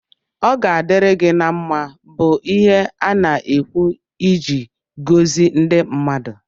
Ọ ga-adịri gi na mma bu ihe ana-ekwu ịji gọzi ndị mmadụ